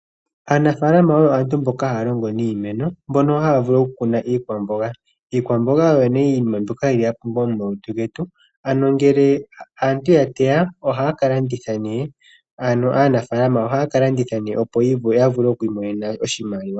Aanafalama oyo aantu mboka haalongo niimeno, mbona haya vulu oku kuna iikwamboga. Iikwamboga oyo ne iinima mbyoka yili yapumbwa momalutu getu. Ano ngele aantu ya teya ohaa kalanditha ne ano aanafalama oha kalanditha ne opo yavule okwi imonena oshimaliwa.